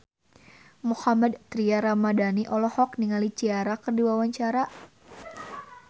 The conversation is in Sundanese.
Mohammad Tria Ramadhani olohok ningali Ciara keur diwawancara